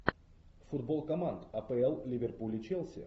футбол команд апл ливерпуль и челси